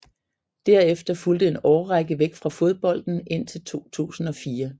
Derefter fulgte en årrække væk fra fodbolden indtil 2004